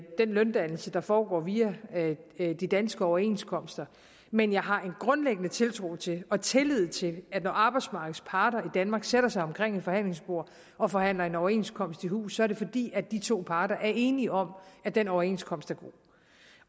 den løndannelse der foregår via de danske overenskomster men jeg har en grundlæggende tiltro til og tillid til at når arbejdsmarkedets parter i danmark sætter sig omkring et forhandlingsbord og forhandler en overenskomst i hus er det fordi de to parter er enige om at den overenskomst